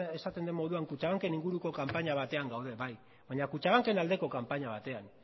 esaten den moduan kutxabank en inguruko kanpaina batean gaude bai baina kutxabank en aldeko kanpaina batean